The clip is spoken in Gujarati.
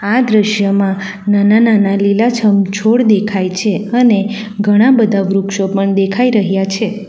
આ દ્રશ્યમાં નાના-નાના લીલાછમ છોડ દેખાય છે અને ઘણા બધા વૃક્ષો પણ દેખાઈ રહ્યા છે.